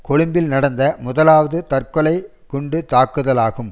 கொழும்பில் நடந்த முதலாவது தற்கொலை குண்டுத்தாக்குதலாகும்